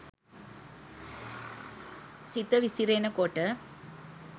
සිත විසිරෙන කොට